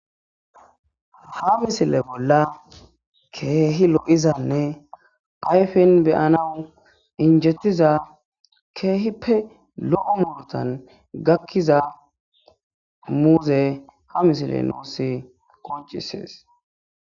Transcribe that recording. Ha misile bolla keehi lo'izanne ayfes beyana injjetiza keehippe lo'o muurutan gakiza muuze ha misiley nuus qonccises